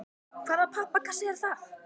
Hvaða pappakassi er það?